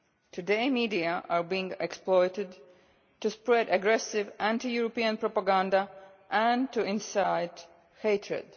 Today the media are being exploited to spread aggressive anti European propaganda and to incite hatred.